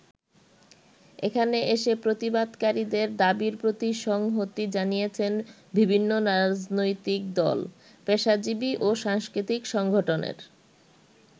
এখানে এসে প্রতিবাদকারীদের দাবির প্রতি সংহতি জানিয়েছেন বিভিন্ন রাজনৈতিক দল, পেশাজীবি ও সাংস্কৃতিক সংগঠনের নেতৃবৃন্দ।